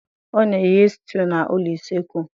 Ọ na eghe stew na ụlọ usekwu